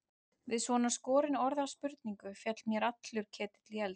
Við svona skorinorða spurningu féll mér allur ketill í eld.